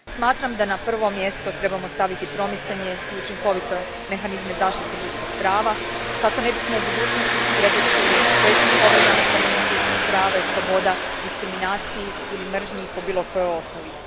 Smatram da na prvo mjesto trebamo staviti promicanje i učinkovite mehanizme zaštite ljudskih prava kako ne bismo u budućnosti svjedočili teškim povredama temeljnih ljudskih prava i sloboda, diskriminaciji ili mržnji po bilo kojoj osnovi.